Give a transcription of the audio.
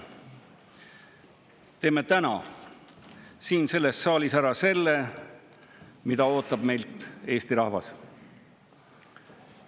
Teeme täna siin selles saalis ära selle, mida ootab meilt Eesti rahvas.